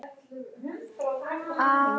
Ég var mjög ungur.